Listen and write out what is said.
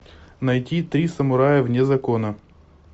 найти три самурая вне закона